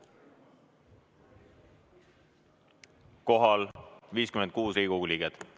Kohal on 56 Riigikogu liiget.